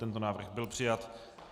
Tento návrh byl přijat.